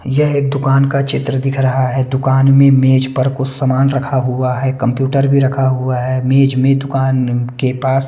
यह एक दुकान का चित्र दिख रहा है दुकान में मेज़ पर कुछ समान रखा हुआ हैं कंप्यूटर भी रखा हुआ है मेज़ में दुकान के पास --